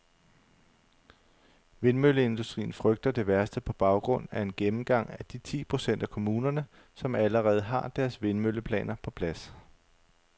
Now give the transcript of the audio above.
Vindmølleindustrien frygter det værste på baggrund af en gennemgang af de ti procent af kommunerne, som allerede har deres vindmølleplaner på plads.